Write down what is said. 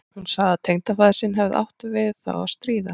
Hún sagði að tengdafaðir sinn hefði átt við þá að stríða.